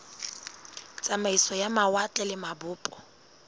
tsamaiso ya mawatle le mabopo